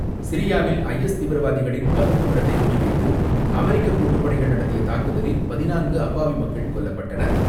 சிரியாவில் ஐஎஸ் தீவிரவாதிகளின் பதுங்கும் இடத்தை குறி வைத்து அமெரிக்க கூட்டுப் படைகள் நடத்திய தாக்குதலில் பதினான்கு அப்பாவி மக்கள் கொல்லப்பட்டனர்.